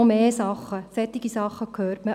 Solche Dinge hört man.